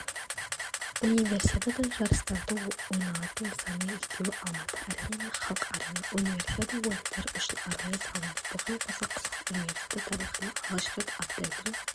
универсиада жарыстары ойналатын нысанның екеуі алматы-арена мен халық-арена универсиада ойындары үшін арнайы салынды бұған қоса қысқы универсиада тарихында алғаш рет атлеттер